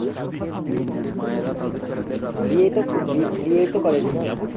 বিয়ে তো বিয়ে তো করেনি না।